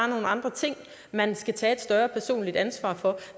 nogle andre ting man skal tage et større personligt ansvar for